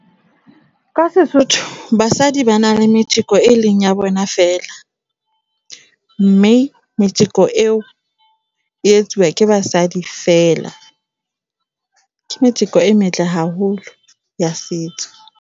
Ka SeSotho basadi ba na le metjeko e leng ya bona fela, mme metjeko eo e etsuwa ke basadi fela. Ke metjeko e metle haholo ya setso.